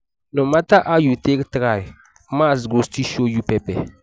no matter how you take try maths go still show you pepper.